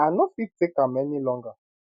i no fit take am any longer